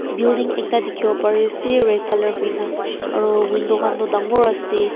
building ekta tekibo pari ase red colour hoina aru window kan tu tangur ase.